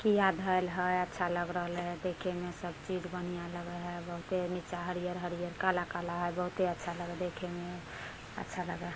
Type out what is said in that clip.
की आ धैल हय अच्छा लग रहलै है देखे में सब चीज़ बढ़िया लगे हय बहुते निचा हरियर हरियर हय काला काला हय बहुत अच्छा लग हय देखे में। अच्छा लगा --